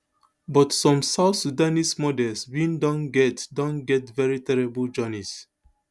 but some south sudanese models bin don get don get veri terrible journeys